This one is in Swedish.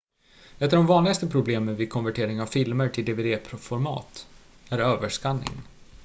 ett av de vanligaste problemen vid konvertering av filmer till dvd-format är överskanning